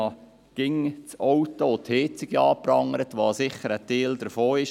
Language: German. Man prangert immer wieder die Autos und die Heizungen an, die sicher ein Teil davon sind.